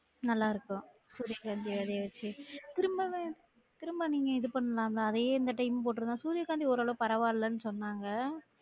நல்லா இருக்கும் சூரிய காந்தி விதைய வச்சு திரும்பவும் திரும்ப நீங்க இது பண்னலாம்ல அதே இந்த time போற்றுந்தா சூரியகாந்தி ஓரளவு பரவா இல்லன்னு சொன்னாங்க